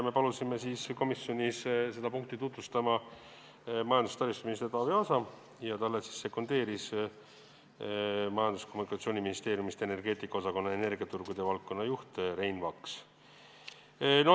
Me palusime komisjoni seda punkti tutvustama majandus- ja taristuminister Taavi Aasa ning talle sekundeeris Majandus- ja Kommunikatsiooniministeeriumist energeetika osakonna energiaturgude valdkonnajuht Rein Vaks.